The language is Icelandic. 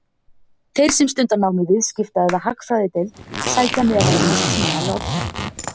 Þeir sem stunda nám í Viðskipta- eða Hagfræðideild sækja meðal annars tíma í Odda.